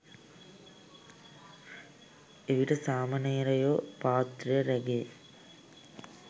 එවිට සාමණේරයෝ පාත්‍රය රැගෙ